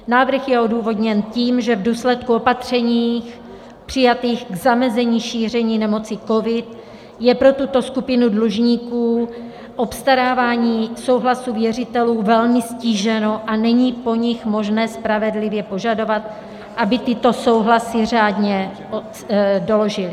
Návrh je odůvodněn tím, že v důsledku opatření přijatých k zamezení šíření nemoci covid je pro tuto skupinu dlužníků obstarávání souhlasu věřitelů velmi ztíženo a není po nich možné spravedlivě požadovat, aby tyto souhlasy řádně doložili.